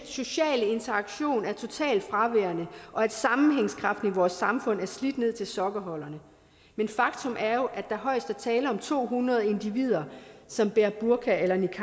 sociale interaktion er totalt fraværende og at sammenhængskraften i vores samfund er slidt ned til sokkeholderne men faktum er jo at der højest er tale om to hundrede individer som bærer burka eller niqab